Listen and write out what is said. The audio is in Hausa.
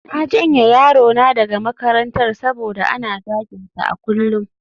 Na janye yarona daga makarantar saboda ana zaginsa a kullum